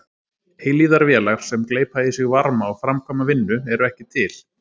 Eilífðarvélar sem gleypa í sig varma og framkvæma vinnu eru ekki til.